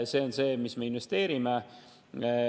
See on see, mis me investeerime.